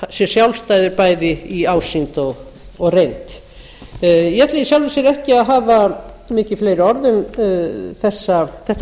sé sjálfstæður bæði í ásýnd og reynd ég ætla í sjálfu sér ekki að hafa mikið fleiri orð um þetta